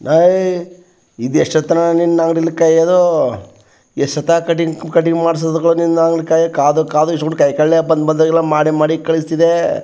ಏಯ್ ಈದ್ ಎಷ್ಟೂತನ್ ನಿನ್ನ ಅಂಗಡಿಲಿ ಕಾಯೋದು ಎಷ್ಟೂತ್ತಾ ಕಟ್ಟಿಂಗ್ ಕಟ್ಟಿಂಗ್ ಮಾಡ್ಸೋದು ನಿನ್ನ ಅಂಗಡಿ ಕಾಯ್ ಕಾದು ಕಾದು ಬಂದ್ ಬಂದ್ ಗೆಲ್ಲಾ ಮಾಡಿಮಾಡಿ ಕಳ್ಸ್ತಿದೆ.